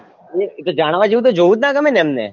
જાણવા જેવું તો જોઉં જ ના ગમે ને એમને